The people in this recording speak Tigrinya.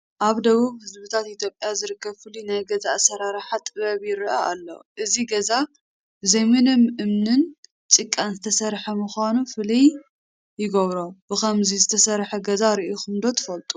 ኣብ ደቡብ ህዝብታት ኢትዮጵያ ዝርከብ ፍሉይ ናይ ገዛ ኣሰራርሓ ጥበብ ይርአ ኣሎ፡፡ እዚ ገዛ ብዘይምንም እምንን ጭቓን ዝተሰርሐ ምዃኑ ፍሉይ ይገብሮ፡፡ ብኸምዚ ዝተሰርሐ ገዛ ርኢኹም ዶ ትፈልጡ?